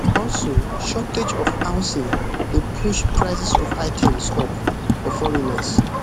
also shortage of housing dey push prices of items up for foreigners